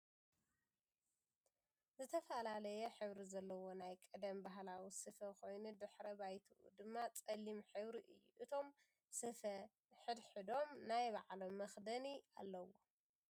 ዝተፈላለየ ሕብሪ ዘለዎ ናይ ቀደም ባህላዊ ስፍ ኮይኑ ድሕረ ባይትኡ ድማ ፀሊም ሕብሪ እዩ ። እቶም ስፈ ሕድሕዶም ናይ ባዕሎም መኪደን ኣሎውም ።